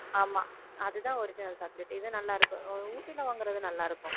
ஆமா அதுதான் original chocolate இது நல்லாருக்கும் ஊட்டியில வாங்குறது நல்லாருக்கும்